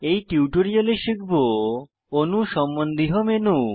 এই টিউটোরিয়ালে শিখব অণু সম্বন্ধীয় মেনু